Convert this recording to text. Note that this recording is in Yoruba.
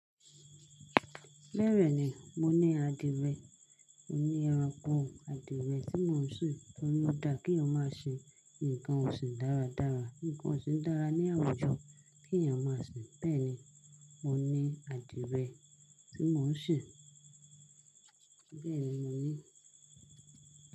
Bẹ́ẹ̀ni, mo ní àdìrẹ. Mo ní ẹranko àdìrẹ tí mò ń sin torí ó da kí eeyan máa ṣin nǹkan òsìn dáradára. Nǹkan òsìn dára ní àwùjọ kí ẹ̀yàn máa ṣin. Bẹ́ẹ̀ni, mo ní àdìrẹ tí mò ń sè. Bẹ́ẹ̀ni mo ní.